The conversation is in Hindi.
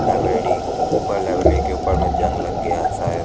लाइब्रेरी ऊपर लाइब्रेरी के ऊपर में जंग लग गया है शायद |